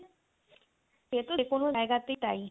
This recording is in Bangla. Hindi